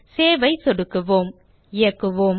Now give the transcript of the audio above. save ஐ சொடுக்குவோம் இயக்குவோம்